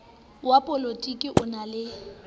wa polotiki o na le